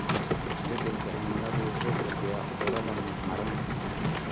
Isbedelka cimilada wuxuu kordhiyaa cudurrada neef-mareenka.